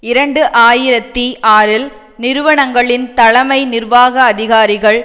இரண்டு ஆயிரத்தி ஆறில் நிறுவனங்களின் தலைமை நிர்வாக அதிகாரிகள்